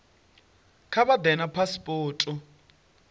kha vha ḓe na phasipoto